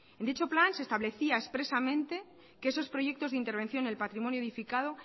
en dicho plan se establecía expresamente que esos proyectos de intervención en el patrimonio edificado